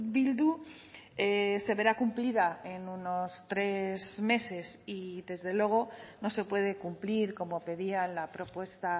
bildu se verá cumplida en unos tres meses y desde luego no se puede cumplir como pedía la propuesta